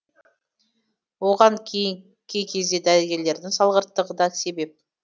оған кей кезде дәрігерлердің салғырттығы да себеп